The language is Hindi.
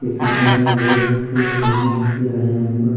किसानों ने बहुत ही मेहनत किया है यहाँ पर--